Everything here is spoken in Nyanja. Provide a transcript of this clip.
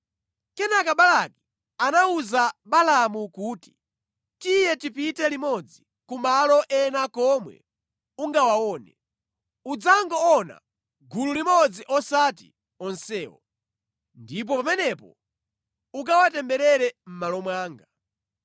Kenaka Balaki anawuza Balaamu kuti, “Tiye tipite limodzi ku malo ena komwe ungawaone. Udzangoona gulu limodzi osati onsewo. Ndipo pamenepo, ukawatemberere mʼmalo mwanga.”